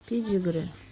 педигри